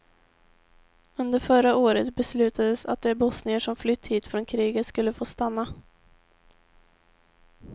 Under förra året beslutades att de bosnier som flytt hit från kriget skulle få stanna.